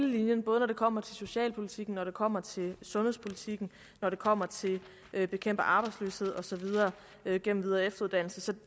linjen både når det kommer til socialpolitikken når det kommer til sundhedspolitikken når det kommer til at bekæmpe arbejdsløsheden og så videre gennem videre og efteruddannelse så det